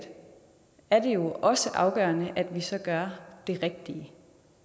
er det jo også afgørende så at gøre det rigtige